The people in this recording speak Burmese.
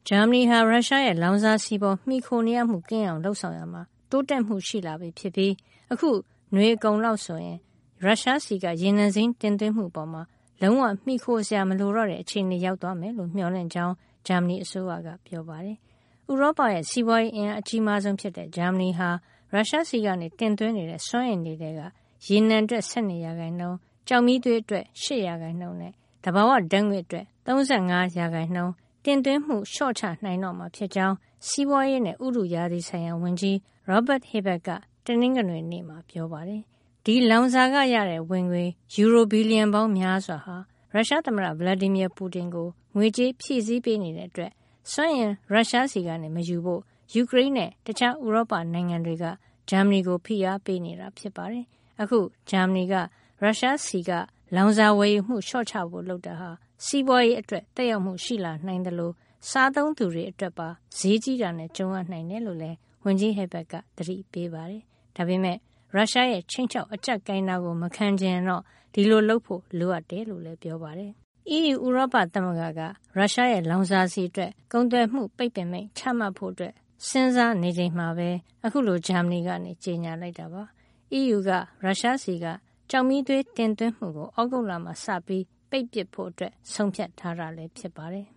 ာမနီဟာ ရုရှားရဲ့ လောင်စာဆီပေါ် မှီခိုနေရမှုကင်းအောင် လုပ်ဆောင်ရာမှာ တိုးတက်မှုရှိလာပြီဖြစ်ပြီး အခုနွေအကုန်လောက်ဆိုရင် ရုရှားဆီက ရေနံစိမ်းတင်သွင်းမှုအပေါ် လုံးဝ မှီခိုစရာမလိုတဲ့ အခြေအနေ ရောက်သွားမယ်လို့ မျှော်လင့်ကြောင်း ဂျာမနီအစိုးရက ပြောပါတယ်။ ဥရောပရဲ့ စီးပွားရေးအင်အား အကြီးမားဆုံးဖြစ်တဲ့ ဂျာမနီဟာ ရုရှားဆီက တင်သွင်းနေတဲ့ စွမ်းအင်တွေထဲက ရေနံအတွက် ၁၂ ရာခိုင်နှုန်း၊ ကျောက်မီးသွေးအတွက် ၈ ရာခိုင်နှုန်းနဲ့ သဘာဝဓာတ်ငွေ့အတွက် ၃၅ ရာခိုင်နှုန်း တင်သွင်းမှု လျှော့ချနိုင်တော့မှာဖြစ်ကြောင်း စီးပွားရေးနဲ့ ဥတုရာသီဆိုင်ရာဝန်ကြီး Robert Habeck က တနင်္ဂနွေနေ့မှာ ပြောပါတယ်။ ဒီလောင်စာကရတဲ့ ဝင်ငွေ ယူရို ဘီလီယံပေါင်းများစွာဟာ ရုရှားသမ္မတ Vladimir Putin ကို ငွေကြေးဖြည့်ဆည်းပေးနေတာကြောင့် ရုရှားဆီက စွမ်းအင်မယူဖို့ ယူကရိန်းနဲ့ တခြား ဥရောပနိုင်ငံတွေက ဂျာမနီကို ဖိအားပေးနေတာ ဖြစ်ပါတယ်။ အခု ဂျာမနီက ရုရှားဆီက လောင်စာဝယ်ယူမှု လျှော့ချဖို့ လုပ်တာဟာ စီးပွားရေးအတွက် သက်ရောက်မှု ရှိလာနိုင်သလို စားသုံးသူတွေအတွက်ပါ ဈေးကြီးတာနဲ့ ကြုံရနိုင်တယ်လို့ ဝန်ကြီး Habeck က သတိပေးပါတယ်။ ဒါပေမဲ့ ရုရှားရဲ့ ခြိမ်းခြောက် အကျပ်ကိုင်တာ မခံချင်ရင်တော့ ဒီလိုလုပ်ဖို့ လိုအပ်တယ်လို့လည်း ပြောပါတယ်။ အီးယူ ဥရောပသမဂ္ဂက ရုရှားရဲ့ လောင်စာဆီအတွက် ကုန်သွယ်မှုပိတ်ပင်မိန့် ချမှတ်ဖို့ စဉ်းစားနေချိန်မှာပဲ ဂျာမနီက အခုလို ကြေညာလိုက်တာပါ။ အီးယူက ရုရှားဆီက ကျောက်မီးသွေး တင်သွင်းမှုတွေကို သြဂုတ်လမှာ စပြီး ပိတ်ပစ်ဖို့ ဆုံးဖြတ်ထားတာလည်း ဖြစ်ပါတယ်